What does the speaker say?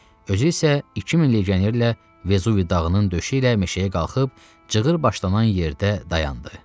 Özü isə 2000 legionerlə Vezuvi dağının döşü ilə meşəyə qalxıb cığır başlanan yerdə dayandı.